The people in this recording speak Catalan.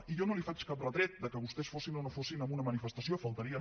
i jo no li faig cap retret que vostès hi fossin o no hi fossin en una manifestació només faltaria